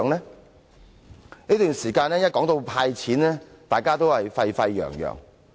在這段期間，每當提到"派錢"，大家也沸沸揚揚。